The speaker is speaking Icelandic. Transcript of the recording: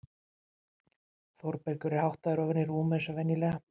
Þórbergur er háttaður ofan í rúm eins og venjulega.